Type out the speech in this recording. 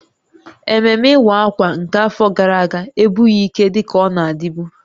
Ememme Iwa Akwa nke afọ gara aga abụghị ike dị ka ọ na-adịbu